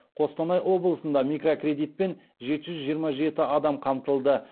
қостанай облысында микрокредитпен жеті жүз жиырма жеті адам қамтылды